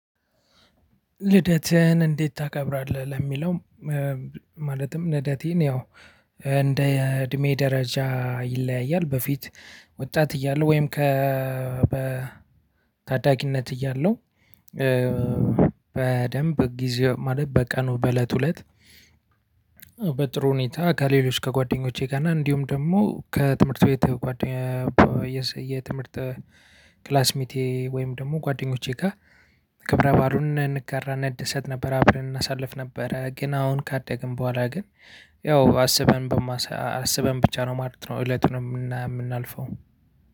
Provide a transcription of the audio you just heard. ልደትህን እንዴት ታከብራለህ? ለሚለው ማለትም ልደቴን ያው እንደ እድሜ ደረጃ ይለያያል በፊት ወጣት እያለ ወይም ከ ታዳጊነት እያለው በደንብ በጊዜው ማለት በቀኑ በለቱ እለት። በጥሩ ሁኔታ ከሌሎች ከጓደኞቼ ጋር እና እንዲሁም ደግሞ ከትምህርት ቤት ጓደኛዬ የትምህርት ክላስ ሚቴ ወይም ደግሞ ጓደኞቼ ጋር ክብረ ባሉን እንጋራ እንደሰት ነበር አብረን እናሳልፍ ነበረ። ግን አሁን ካደግን በኋላ ግን ያው አስበን በማስ አስበን ብቻ ነው ማለት ነው። እለቱን የምናልፈው።